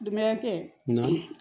Dunbaya tɛ na